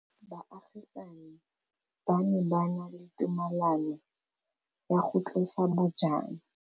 Baagisani ba ne ba na le tumalanô ya go tlosa bojang.